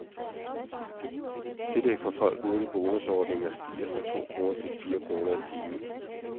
Tillæg for folk uden bonusordninger stiger fra to kroner til fire kroner i timen.